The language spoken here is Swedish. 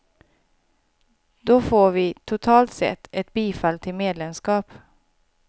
Då får vi, totalt sett, ett bifall till medlemskap.